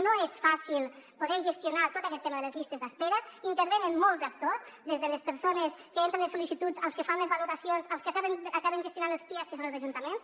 no és fàcil poder gestionar tot aquest tema de les llistes d’espera hi intervenen molts actors des de les persones que entren les sol·licituds als que fan les valoracions els que acaben gestionant els pias que són els ajuntaments